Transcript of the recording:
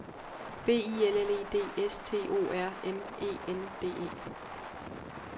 B I L L E D S T O R M E N D E